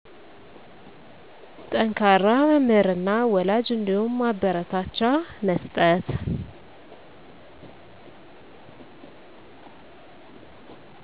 ጠንከራ መምህር እና ወላጅ እንዲሁም ማበረታቻ መስጠት